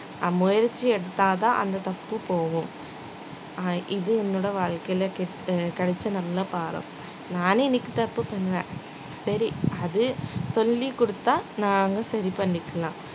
ஆஹ் முயற்சி எடுத்தாதான் அந்த தப்பு போகும் அஹ் இது என்னோட வாழ்க்கையில கிடைச்ச நல்ல பாடம் நானு இன்னைக்கு தப்பு பண்ணுவேன் சரி அது சொல்லிக் கொடுத்தா நானு சரி பண்ணிக்கலாம்